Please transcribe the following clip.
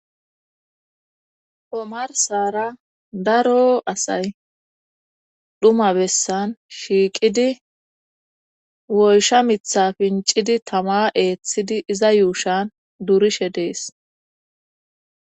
Omarsara daro asay dhuma bessan shiiqidi woyshsha miiththa pincidi tama eeththidi iza yuushan durishe dees